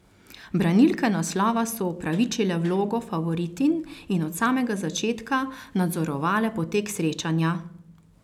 Branilke naslova so upravičile vlogo favoritinj in od samega začetka nadzorovale potek srečanja.